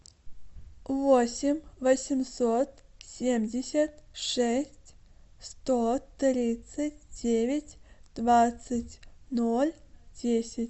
восемь восемьсот семьдесят шесть сто тридцать девять двадцать ноль десять